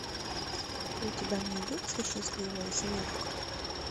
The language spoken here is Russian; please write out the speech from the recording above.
у тебя найдется счастливая семерка